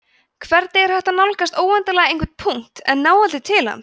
hvernig er hægt að nálgast óendanlega einhvern punkt en ná aldrei til hans